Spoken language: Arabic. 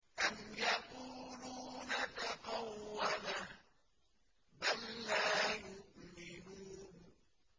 أَمْ يَقُولُونَ تَقَوَّلَهُ ۚ بَل لَّا يُؤْمِنُونَ